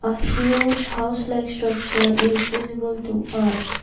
a huge house like structure is visible to us.